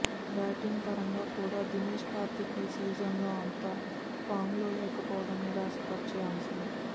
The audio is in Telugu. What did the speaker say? బ్యాటింగ్పరంగా కూడా దినేష్ కార్తీక్ ఈ సీజన్లో అంత ఫామ్లో లేకపోవడం నిరాశపరిచే అంశం